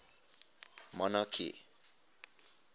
monarchy